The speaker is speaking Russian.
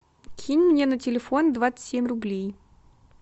кинь мне на телефон двадцать семь рублей